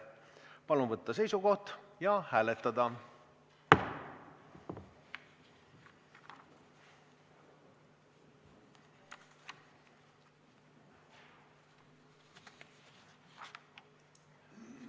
Palun võtta seisukoht ja hääletada!